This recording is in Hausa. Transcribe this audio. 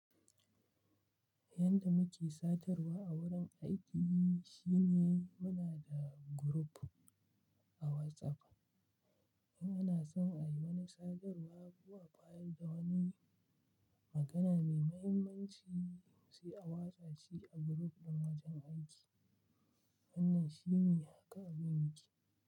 Yanda muke sadarwa a wurin aiki shine muna da group a WhatsApp. In ana son a yi wani sadarwa ko a bayar da wani magana mai mahimmanci, sai a watsa shi a group ɗin wajen aiki. Wannan shine haka abin muke.